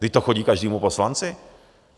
Vždyť to chodí každému poslanci!